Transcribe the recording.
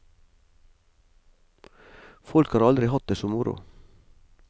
Folk har aldri hatt det så moro.